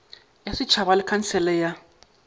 ya setšhaba le khansele ya